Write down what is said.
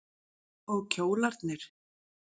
Og kjólarnir.